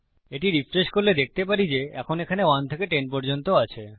যদি এটি রিফ্রেশ করি আমরা দেখতে পারি যে এখন এখানে 1 থেকে 10 পর্যন্ত আছে